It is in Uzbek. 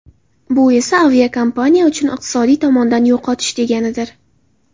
Bu esa aviakompaniya uchun iqtisodiy tomondan yo‘qotish deganidir.